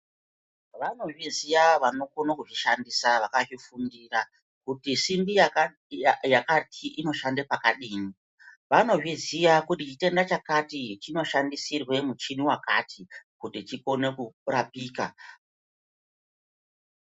Vanozviziya vanokone kuzvishandisa vakazvifundira kuti simbi yakati inoshande pakadini. Vanozviziya kuti chitenda chakati chinoshandisirwe muchini wakati, kuti chikone kurapika.